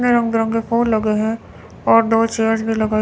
रंग बिरंगे फूल लगे हैं और दो चेयर्स भी लगाई--